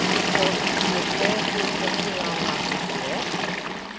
åttiotre tusen fyrahundrasjuttioett